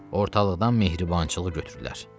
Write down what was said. Ortalıqdan mərhəmətçiliyi götürürlər.